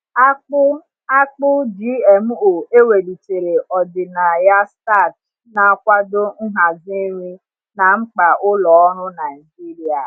Akpụ Akpụ GMO e welitere ọdịnaya starch na-akwado nhazi nri na mkpa ụlọ ọrụ Naijiria.